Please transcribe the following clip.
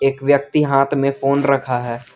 एक व्यक्ति हाथ में फोन रखा है।